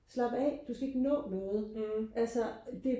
slap af du skal ikke nå noget altså det